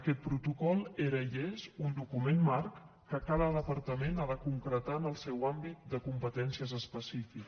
aquest protocol era i és un document marc que cada departament ha de concretar en el seu àmbit de competències específic